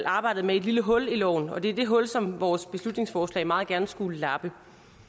arbejdet med et lille hul i loven og det er det hul som vores beslutningsforslag meget gerne skulle lappe